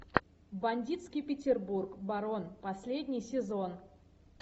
бандитский петербург барон последний сезон